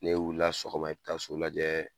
N'e wilila sɔgɔma i bɛ taa sulu lajɛ